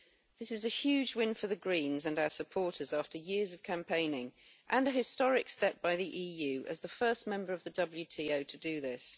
This is a huge win for the Greens and our supporters after years of campaigning and a historic step by the EU as the first member of the WTO to do this.